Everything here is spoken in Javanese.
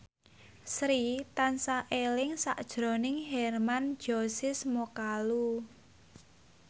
Sri tansah eling sakjroning Hermann Josis Mokalu